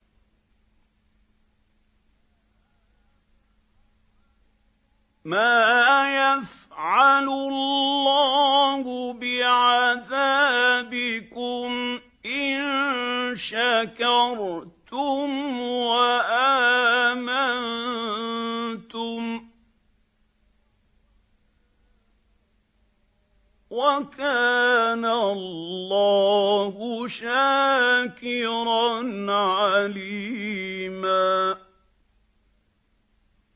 مَّا يَفْعَلُ اللَّهُ بِعَذَابِكُمْ إِن شَكَرْتُمْ وَآمَنتُمْ ۚ وَكَانَ اللَّهُ شَاكِرًا عَلِيمًا